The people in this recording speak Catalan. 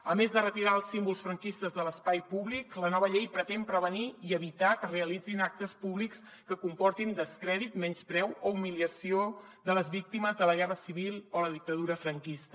a més de retirar els símbols franquistes de l’espai públic la nova llei pretén prevenir i evitar que es realitzin actes públics que comportin descrèdit menyspreu o humiliació de les víctimes de la guerra civil o la dictadura franquista